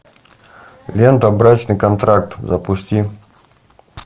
лента брачный контракт запусти